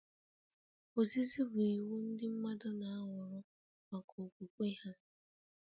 Ozizi bụ iwu ndị mmadụ na-ahọrọ maka okwukwe ha